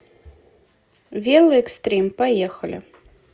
велоэкстрим поехали